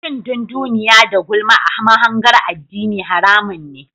Cin dunduniya da gulma a mahangar addini haramun ne.